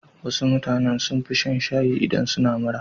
Wasu mutanen sun fi shan shayi idan suna mura.